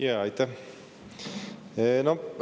Jaa, aitäh!